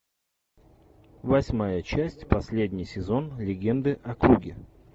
восьмая часть последний сезон легенды о круге